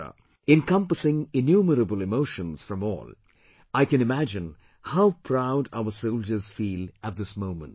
, encompassing innumerable emotions from all; I can imagine how proud our soldiers feel at this moment